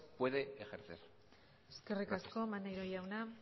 puede ejercer gracias eskerrik asko maneiro jauna